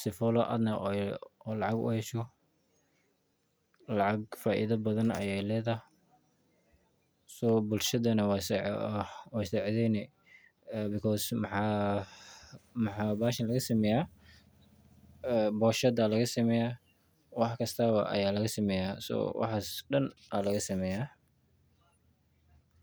sifo adna lacag ooga hasho lacag faaidha badhan aya ledahay so bulshada way sa cidhayni because maxa bahashan laga sameya boonshada aya lagasemya wax kastaba aya lagasameya so waxas daan aya lagasameya.